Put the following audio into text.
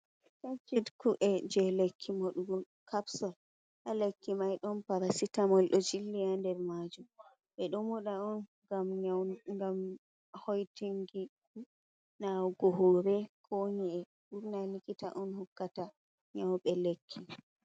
Paket ku’e je lekki madugo capsal. Ha lekki maiɗon parasitamol do jillia nder majum. Be ɗomuɗa on gam hoitingi nawugo hore, ko nyi’e. Burna likita on hokkata nyaube lekki.